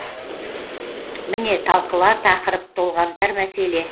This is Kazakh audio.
міне талқылар тақырып толғантар мәселе